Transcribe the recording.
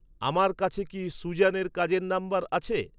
আমার কাছে কি সুজ্যানের কাজের নম্বর আছে?